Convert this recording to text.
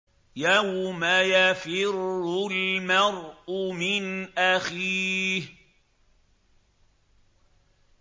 يَوْمَ يَفِرُّ الْمَرْءُ مِنْ أَخِيهِ